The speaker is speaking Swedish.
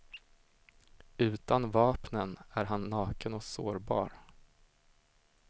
Utan vapnen är han naken och sårbar.